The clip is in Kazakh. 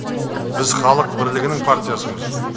біз халық бірлігінің партиясымыз